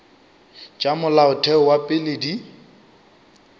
tša molaotheo wa pele di